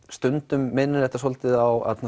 stundum minnir þetta svolítið á